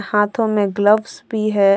हाथों में ग्लव्स भी है।